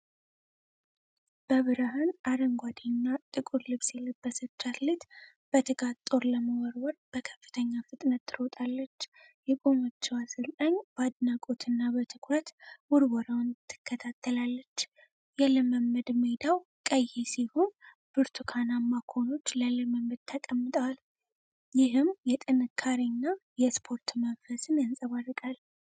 በብርሃን አረንጓዴና ጥቁር ልብስ የለበሰች አትሌት በትጋት ጦር ለመወርወር በከፍተኛ ፍጥነት ትሮጣለች። የቆመችው አሰልጣኝ በአድናቆትና በትኩረት ውርወራውን ትከታተላለች። የልምምድ ሜዳው ቀይ ሲሆን፣ ብርቱካናማ ኮኖች ለልምምድ ተቀምጠዋል፤ ይህም የጥንካሬና የስፖርት መንፈስን ያንፀባርቃል።